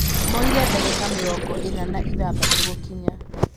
Moire dagĩka mĩrongo ĩna na ithathatũ gũkinya